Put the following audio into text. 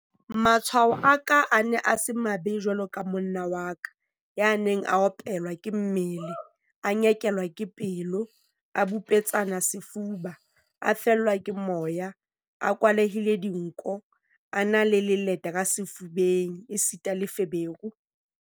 Matshwao a ka a ne a se mabe jwaloka a monna wa ka, ya neng a opelwa ke mmele, a nyekelwa ke pelo, a bipetsane sefuba, a fellwa ke moya, a kwalehile dinko, a na le leleta ka sefubeng esita le feberu.